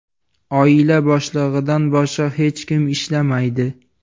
Oila boshlig‘idan boshqa hech kim ishlamaydi.